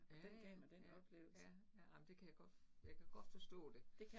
Ja ja, ja, ja, ja ej men det kan jeg godt, jeg kan godt forstå det